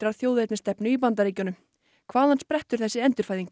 þjóðernisstefnu í Bandaríkjunum hvaðan sprettur þessi endurfæðing